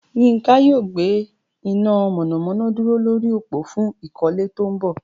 Yinka yóò gbé iná mọ̀nàmọ́ná dúró lórí òpó fún ìkọ́lé tó ń bọ̀